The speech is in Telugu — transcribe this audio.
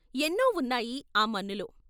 ఎన్నో ఉన్నాయి ఆ మన్నులో....